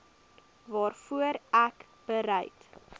waarvoor ek bereid